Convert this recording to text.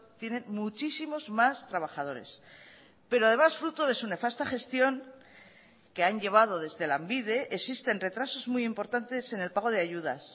tienen muchísimos más trabajadores pero además fruto de su nefasta gestión que han llevado desde lanbide existen retrasos muy importantes en el pago de ayudas